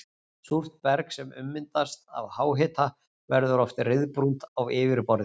Súrt berg sem ummyndast af háhita verður oft ryðbrúnt á yfirborði.